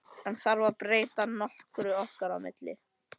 En þarf það að breyta nokkru okkar á milli?